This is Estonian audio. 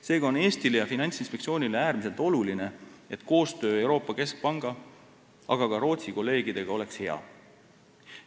Seega on Eestile ja Finantsinspektsioonile äärmiselt oluline, et koostöö Euroopa Keskpanga, aga ka Rootsi kolleegidega oleks hea.